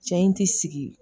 Cɛ in ti sigi